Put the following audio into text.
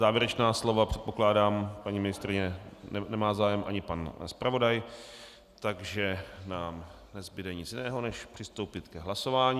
Závěrečná slova - předpokládám, paní ministryně nemá zájem ani pan zpravodaj, takže nám nezbude nic jiného než přistoupit k hlasování.